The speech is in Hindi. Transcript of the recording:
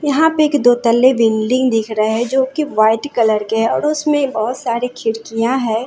यहां पे एक दो तल्ले बिल्डिंग दिख रहा है जो की वाइट कलर के है और उसमें बहुत सारे खिड़कियां है।